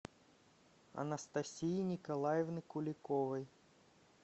анастасии николаевны куликовой